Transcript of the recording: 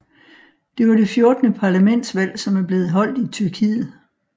Det var det 14 parlamentsvalg som er blevet holdt i Tyrkiet